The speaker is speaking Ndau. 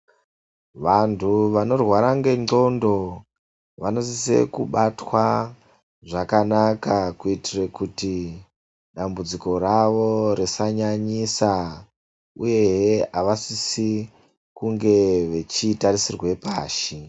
Vantu vanorwara ngenxondo vanosise kubatwa zvakanaka, kuitira kuti dambudziko ravo risanyanyisa, uyehe avasisi kunge vechitarisirwa pashi.